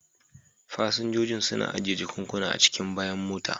Fasinjojin suna ajiye jakunkuna a cikin bayan mota.